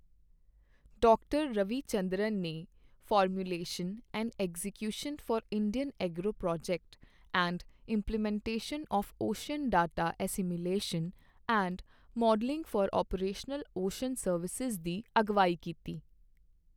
Doctor Ravi Chandran ਨੇ formulation and execution for Indian agro project and implementation of ocean data assimilation and modelling for operational ocean services ਦੀ ਅਗਵਾਈ ਕੀਤੀ।